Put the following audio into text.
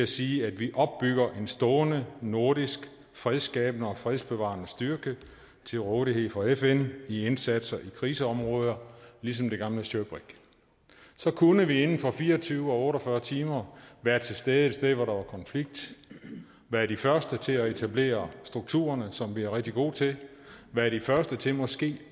sige at vi opbygger en stående nordisk fredsskabende og fredsbevarende styrke til rådighed for fn i indsatser i krigsområder ligesom det gamle shirbrig så kunne vi inden for fire og tyve eller otte og fyrre timer være til stede et sted hvor der var konflikt være de første til at etablere strukturerne som vi er rigtig gode til være de første til måske